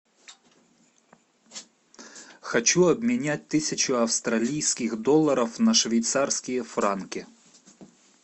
хочу обменять тысячу австралийских долларов на швейцарские франки